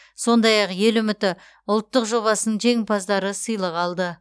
сондай ақ ел үміті ұлттық жобасының жеңімпаздары сыйлық алды